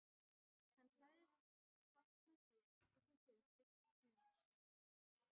Hann sagðist hafna þér ef þú fylgdir mér.